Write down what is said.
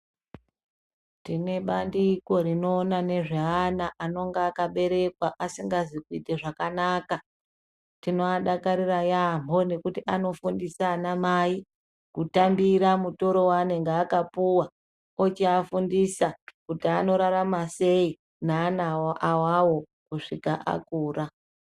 Tine bandiko rinoona nezveana anonga akaberekwa asingazi kuita zvakanaka . Tinoadakarira yaamho nekuti anofundisa ana mai kutambira mutoro wanenge akapuwa ochiafundisa kuti anorarama sei neana awawo kusvika akura.